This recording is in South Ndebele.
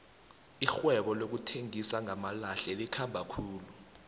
irhwebo lokuthengisa ngamalahle likhamba khulu